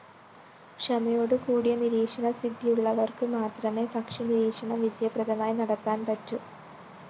ക്ഷമയോടുകൂടിയ നിരീക്ഷണസിദ്ധിയുള്ളവര്‍ക്ക് മാത്രമേ പക്ഷി നിരീക്ഷണം വിജയപ്രദമായി നടത്താന്‍ പറ്റൂ